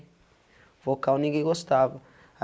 O vocal ninguém gostava.